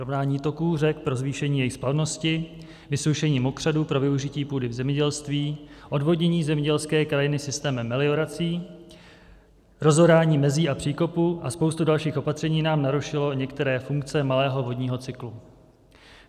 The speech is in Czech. Rovnání toků řek pro zvýšení jejich splavnosti, vysoušení mokřadů pro využití půdy v zemědělství, odvodnění zemědělské krajiny systémem meliorací, rozorání mezí a příkopů a spousta dalších opatření nám narušilo některé funkce malého vodního cyklu.